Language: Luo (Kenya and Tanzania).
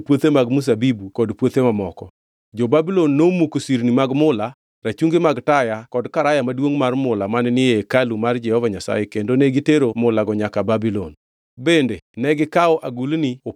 Jo-Babulon nomuko sirni mag mula, rachungi mag taya kod Karaya Maduongʼ mar mula mane ni e hekalu mar Jehova Nyasaye kendo ne gitero mulago nyaka Babulon.